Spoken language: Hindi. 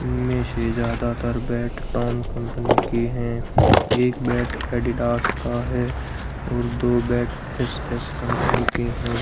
इनमें से ज्यादातर बैट पान कंपनी की हैं एक बैट एडिडास का है और दो बैट एस_एस कंपनी के हैं।